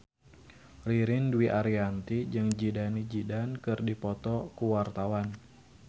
Ririn Dwi Ariyanti jeung Zidane Zidane keur dipoto ku wartawan